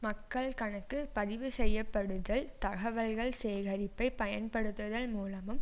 மக்கள் கணக்கு பதிவு செய்யப்படுதல் தகவல்கள் சேகரிப்பை பயன்படுத்துதல் மூலமும்